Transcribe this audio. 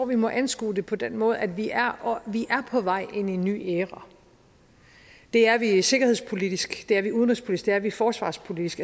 vi må anskue det på den måde at vi er på vej ind i en ny æra det er vi sikkerhedspolitisk det er vi i udenrigspolitisk er vi forsvarspolitisk